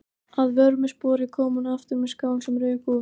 Að vörmu spori kom hún aftur með skál sem rauk úr.